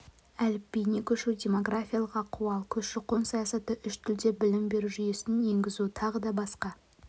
әліпбиіне көшу демографиялық ахуал көші-қон саясаты үш тілде білім беру жүйесін енгізу тағы да басқа